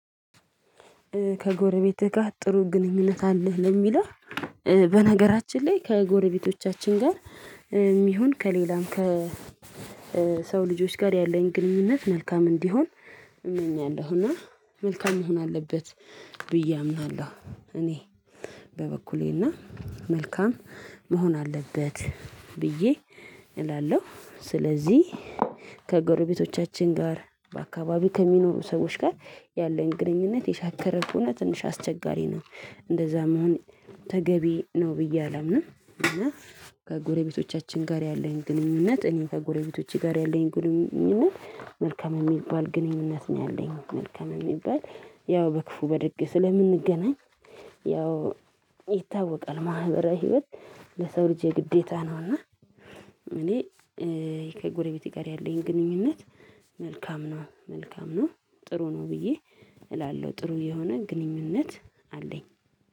ከጎረቤትህ ጋር ጥሩ ግንኙነት አለህ ለሚለው? በነገራችን ላይ ከጎረቤቶቻችን ጋር ይሁን ከሌላም ከሰው ልጆች ጋር ያለኝ ግንኙነት መልካም እንዲሆን እመኛለሁ። እና መልካም መሆን አለበት። ብዬ አምናለሁ እኔ በበኩሌ መልካም መሆን አለበት ብዬ እላለሁ። ስለዚህ ከጎረቤቶቻችን ጋር በአካባቢው ከሚኖሩ ሰዎች ጋር ያለን ግንኙነት የሻከረ ከሆነ ትንሽ አስቸጋሪ ነው። እንደዛ መሆን ተገቢ ነው ብዬ አላምንም። እና ከጎረቤቶቻችን ጋር ያለኝ ግንኙነት እኔን ከጎረቤቶቼ ጋር ያለኝ ግንኙነት መልካም የሚባል ግንኙነት ነው። ያለኝ መልካም የሚባል ያው በክፉ በደግ ስለምንገናኝ ያው ይታወቃል ማህበራዊ ህይወት ለሰው ልጅ የግዴታ ነውና። እኔ ከጎረቤቴ ጋር ያለኝ ግንኙነት መልካም ነው መልካም ነው ጥሩ ነው ብዬ እላለሁ። ጥሩ የሆነ ግንኙነት አለኝ።